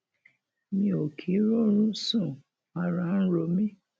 mi ò kì í róorun sún ara ń ro mí